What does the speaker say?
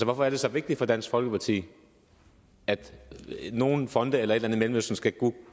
hvorfor er det så vigtigt for dansk folkeparti at nogle fonde eller et eller andet i mellemøsten skal